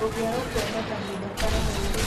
ũngĩaga kuona kahinda ka mweri